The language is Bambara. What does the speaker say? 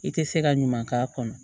I tɛ se ka ɲuman k'a kɔnɔ